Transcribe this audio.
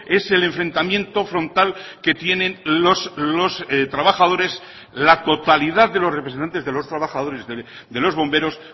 es el enfrentamiento frontal que tienen los trabajadores la totalidad de los representantes de los trabajadores de los bomberos